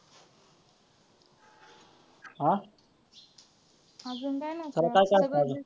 आ त्याला काय काय असतं अजून.